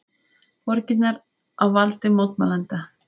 Borgirnar á valdi mótmælenda